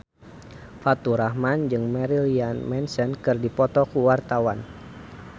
Faturrahman jeung Marilyn Manson keur dipoto ku wartawan